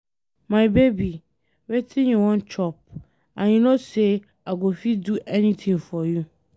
My baby, wetin you wan chop and you no say I go fit do anything for you.